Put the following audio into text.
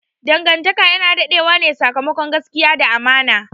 Dangantaka yana dade wane sakamakon gaskiya da amana.